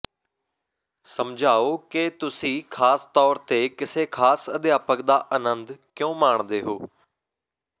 ਸਮਝਾਓ ਕਿ ਤੁਸੀਂ ਖਾਸ ਤੌਰ ਤੇ ਕਿਸੇ ਖਾਸ ਅਧਿਆਪਕ ਦਾ ਆਨੰਦ ਕਿਉਂ ਮਾਣਦੇ ਹੋ